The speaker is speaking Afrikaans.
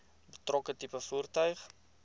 betrokke tipe voertuig